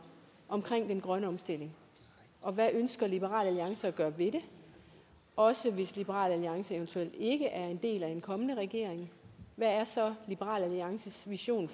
om den grønne omstilling og hvad liberal alliance ønsker at gøre ved det og hvis liberal alliance eventuelt ikke er en del af en kommende regering hvad er så liberal alliances vision